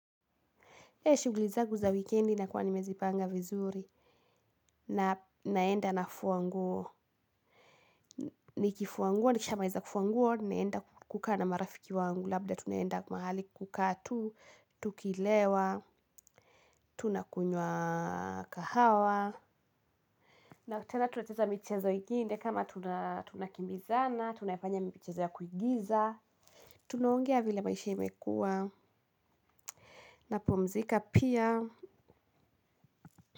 Ee shughuli zangu za wikendi na kuwa nimezipanga vizuri na naenda na fua nguo, nikifua nguo, nikishamaliza fua nguo, naenda kukaa na marafiki wangu, labda tunaenda mahali kukaa tu, tukilewa, tunakunywa kahawa, na tena tunacheza michezo ingine kama tunakimbizana, tunafanya michezo ya kuigiza, tunongea vile maisha imekua, napumzika pia.